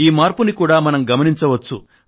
ఈ మార్పును కూడా మనం గమనించవచ్చు